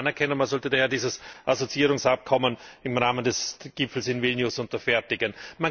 Das sollte man anerkennen, und man sollte daher dieses Assoziierungsabkommen im Rahmen des Gipfels in Vilnius unterfertigen.